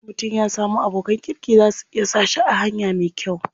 Idan mutum ya samu abokan kirki za su iya sa shi a hanya me kyau.